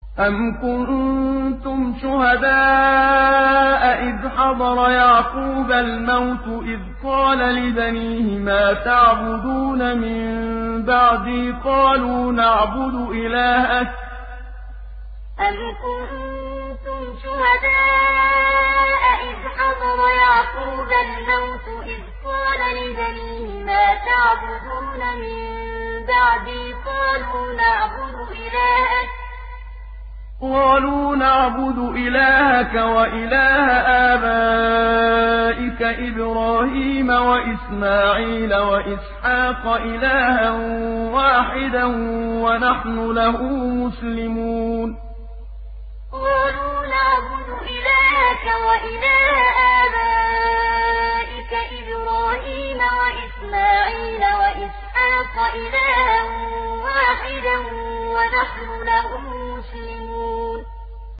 أَمْ كُنتُمْ شُهَدَاءَ إِذْ حَضَرَ يَعْقُوبَ الْمَوْتُ إِذْ قَالَ لِبَنِيهِ مَا تَعْبُدُونَ مِن بَعْدِي قَالُوا نَعْبُدُ إِلَٰهَكَ وَإِلَٰهَ آبَائِكَ إِبْرَاهِيمَ وَإِسْمَاعِيلَ وَإِسْحَاقَ إِلَٰهًا وَاحِدًا وَنَحْنُ لَهُ مُسْلِمُونَ أَمْ كُنتُمْ شُهَدَاءَ إِذْ حَضَرَ يَعْقُوبَ الْمَوْتُ إِذْ قَالَ لِبَنِيهِ مَا تَعْبُدُونَ مِن بَعْدِي قَالُوا نَعْبُدُ إِلَٰهَكَ وَإِلَٰهَ آبَائِكَ إِبْرَاهِيمَ وَإِسْمَاعِيلَ وَإِسْحَاقَ إِلَٰهًا وَاحِدًا وَنَحْنُ لَهُ مُسْلِمُونَ